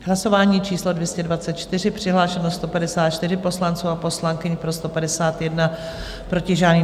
Hlasování číslo 224, přihlášeno 154 poslanců a poslankyň, pro 151, proti žádný.